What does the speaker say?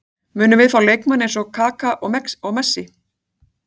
Munum við fá leikmenn eins og Kaka og Messi?